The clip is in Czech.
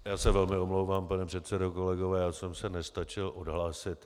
Já se velmi omlouvám, pane předsedo, kolegové, já jsem se nestačil odhlásit.